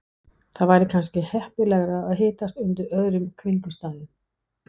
Það væri kannski heppilegra að hittast undir öðrum kringumstæðum